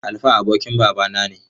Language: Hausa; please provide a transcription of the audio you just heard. Alfa abokin babana ne.